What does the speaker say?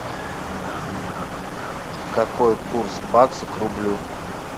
какой курс бакса к рублю